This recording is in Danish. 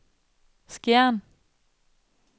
Skjern